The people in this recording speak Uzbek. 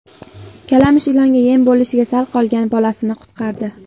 Kalamush ilonga yem bo‘lishiga sal qolgan bolasini qutqardi .